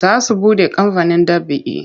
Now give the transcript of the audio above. Za su buɗe kamfanin ɗab'i.